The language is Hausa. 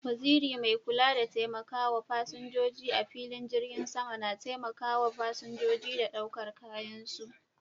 Waziri mai kula da taimakawa fasinjoji a filin jirgin sama na taimakawa fasinjoji da ɗaukar kayan su.